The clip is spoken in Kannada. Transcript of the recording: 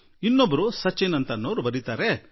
ಶ್ರೀಮಾನ್ ಸಚಿನ್ ಎನ್ನುವವರು ಬರೆದಿದ್ದಾರೆ